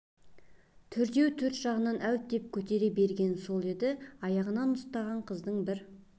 төртеуі төрт жағынан әуіп деп көтере бергені сол еді аяғынан ұстаған қыздың бір